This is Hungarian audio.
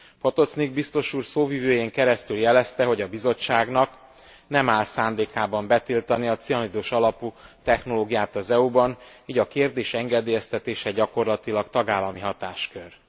Potocnik Biztos Úr szóvivőjén keresztül jelezte, hogy a Bizottságnak nem áll szándékában betiltani a cianidos alapú technológiát az EU ban, így a kérdés engedélyeztetése gyakorlatilag tagállami hatáskör.